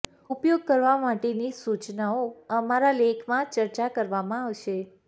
ઉપયોગ કરવા માટેની સૂચનાઓ અમારા લેખમાં ચર્ચા કરવામાં આવશે